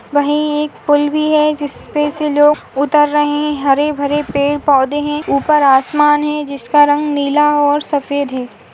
वही एक पूल भी है जिसपे से लोग उतर रहे हरे भरे पेड़ पौधे हैं ऊपर आसमान है जिसका रंग नीला और सफेद है।